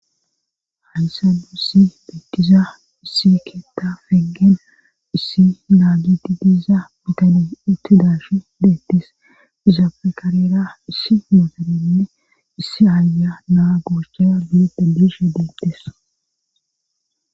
hansanu issi beettiza issi keetta feggen issi naagiti diiza mitani itti daash beettis izafe karera issi mootanenne issi aaya naa gooshche bilede bishe deettis